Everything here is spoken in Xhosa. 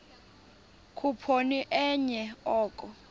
khuphoni enye oko